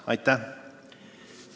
Aitäh!